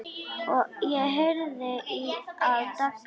Ég heyrði að Dagný stundi.